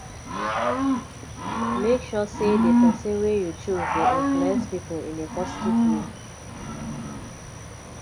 make sure say di persin wey you choose de influence pipo in a positive way